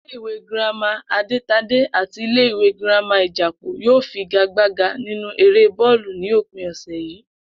Ilé ìwé girama Adétadé àti ilé ìwé girama Ìjàpò yóò figagbága nínú eré bó̩ò̩lù ní òpin sáà yìí